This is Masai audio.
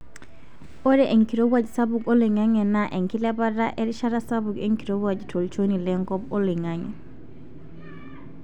Ore enkirowuaj sapuk oloingange naa enkilepata erishata sapuk enkirowuaj tolchoni lenkop oloingange.